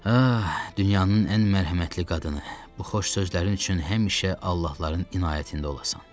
Hə, dünyanın ən mərhəmətli qadını, bu xoş sözlərin üçün həmişə Allahların inayətində olasan.